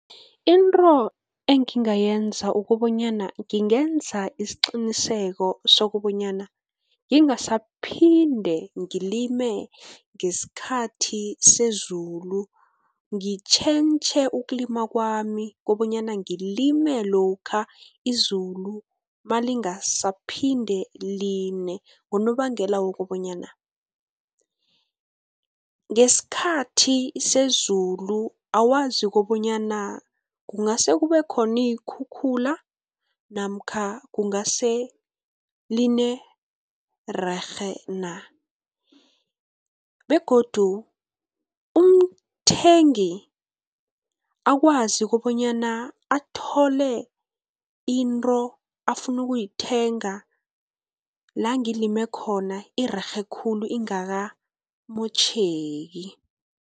Into engingayenza ukobanyana, ngingenza isiqiniseko sokobanyana, ngingasaphinde ngilime ngesikhathi sezulu. Ngitjhentjhe ukulima kwami, kobanyana ngilime lokha izulu nalingasaphinde line, ngonobangela wokobanyana ngesikhathi sezulu awazi kobanyana kungase kube khoni iinkhukhula, namkha kungase line rerhe na, begodu umthengi akwazi kobanyana athole into afuna ukuyithenga la ngilime khona irerhe khulu ingakamotjheki.